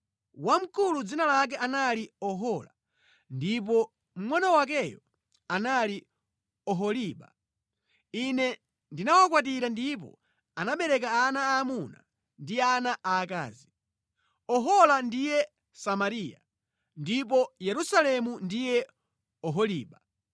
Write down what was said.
Wamkulu dzina lake anali Ohola, ndipo mngʼono wakeyo anali Oholiba. Ine ndinawakwatira ndipo anabereka ana aamuna ndi ana aakazi. Ohola ndiye Samariya, ndipo Yerusalemu ndiye Oholiba.